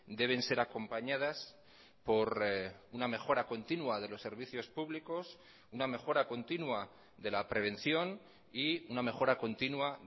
deben ser acompañadas por una mejora continua de los servicios públicos una mejora continua de la prevención y una mejora continua